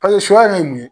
suya yɛrɛ ye mun ye